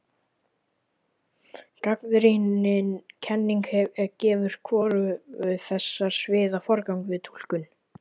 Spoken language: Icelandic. Gagnrýnin kenning gefur hvorugu þessara sviða forgang við túlkun.